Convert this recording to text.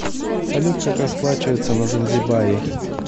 салют как расплачиваться на занзибаре